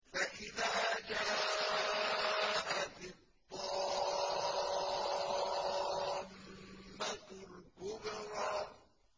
فَإِذَا جَاءَتِ الطَّامَّةُ الْكُبْرَىٰ